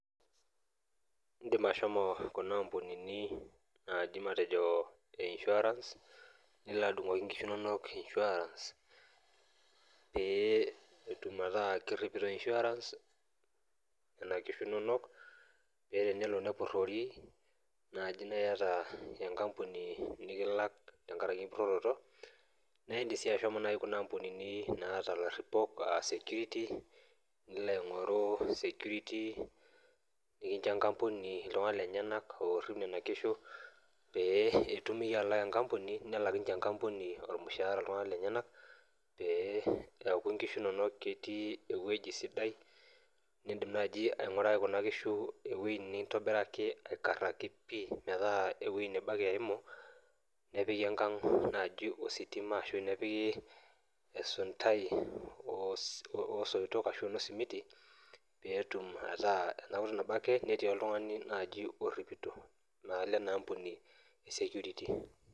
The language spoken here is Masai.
Edim ashomo Kuna ambunini najii ene insurance nilo adungoki enkishu enono insurance pee etum metaa keripito insurance Nena kishu enono paa tenelo nepurorii naa eyata naaji enkampuni nikilak tenkaraki empuroroto naa edim sii naaji ashomo Kuna ambunini naata laripok aa security nilo aing'oru security nikinjo enkampuni iltung'ana lenyena orip Nena kishu pee etum eyie atalaa enkampuni nelak ninye enkampuni iltung'ana lenyena musharani lenye pee ekuu enkishu enono ketii ewueji sidai nidim naaji ainguraki Kuna kishu ewueji nitobiraki aikaraki pii meeta ewueji nebo ake eyimu nepiki enkag ositima ashu nepiki esuntai oo soitok ashu enoo simiti pee etum akhh ena kutuk ake netii najii oltung'ani oripito naa leina ambuni security